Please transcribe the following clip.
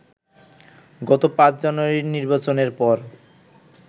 গত ৫ জানুয়ারির নির্বাচনের পর